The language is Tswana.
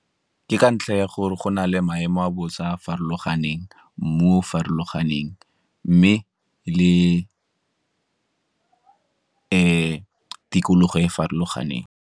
Ke ka ntlha ya gore go na le maemo a bosa a a farologaneng, mmu o farologaneng mme le tikologo e e farologaneng.